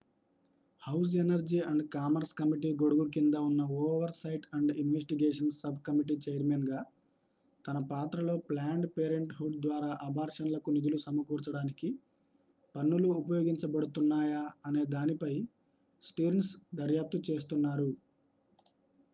house Energy and Commerce committee గొడుగు కింద ఉన్న oversight and investigations subcommittee chairman గా తన పాత్రలో ప్లాన్డ్ పేరెంట్ హుడ్ ద్వారా అబార్షన్లకు నిధులు సమకూర్చడానికి పన్నులు ఉపయోగించబడుతున్నాయా అనే దానిపై స్టిర్న్స్ దర్యాప్తు చేస్తున్నారు